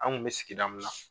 An kun bɛ sigida min na.